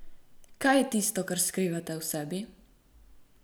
Kaj je tisto, kar skrivate v sebi?